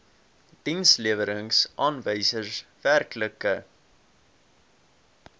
dienslewerings aanwysers werklike